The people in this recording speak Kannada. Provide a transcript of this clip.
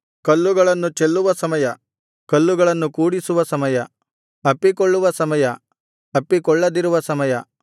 ಕಲ್ಲುಗಳನ್ನು ಚೆಲ್ಲುವ ಸಮಯ ಕಲ್ಲುಗಳನ್ನು ಕೂಡಿಸುವ ಸಮಯ ಅಪ್ಪಿಕೊಳ್ಳುವ ಸಮಯ ಅಪ್ಪಿಕೊಳ್ಳದಿರುವ ಸಮಯ